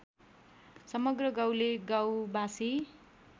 समग्र गाउँले गाउँवासी